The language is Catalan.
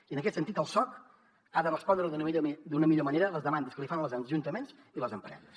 i en aquest sentit el soc ha de respondre d’una millor manera a les demandes que li fan els ajuntaments i les empreses